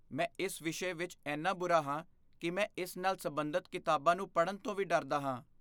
ਮੈਂ ਇਸ ਵਿਸ਼ੇ ਵਿੱਚ ਇੰਨਾ ਬੁਰਾ ਹਾਂ ਕਿ ਮੈਂ ਇਸ ਨਾਲ ਸਬੰਧਤ ਕਿਤਾਬਾਂ ਨੂੰ ਪੜਨ ਤੋਂ ਵੀ ਡਰਦਾ ਹਾਂ।